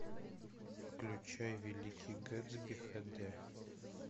включай великий гэтсби хэ дэ